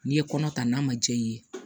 N'i ye kɔnɔ ta n'a ma jɛya i ye